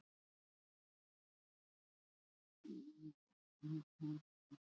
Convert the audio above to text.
Flestir töldu hana af með allri áhöfn en hún fannst um síðir.